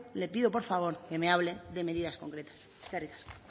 le pido por favor que me hable de medidas concretas eskerrik asko